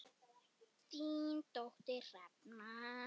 Þín dóttir Hrefna.